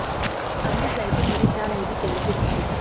अगली स्लाइड में पढ़ें क्या रहेगी केरल की स्थिति